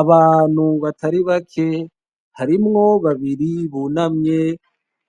Abantu batari bake, harimwo babiri bunamye